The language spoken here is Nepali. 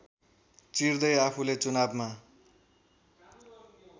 चिर्दै आफूले चुनावमा